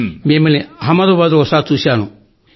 మిమ్మల్ని అహ్మదాబాద్ లో ఒకసారి చూశాను సార్